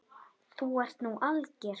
Þú ert nú alger!